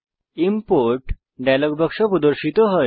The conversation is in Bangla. ইমপোর্ট ডায়ালগ বাক্স প্রদর্শিত হয়